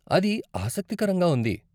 అది ఆసక్తికరంగా ఉంది!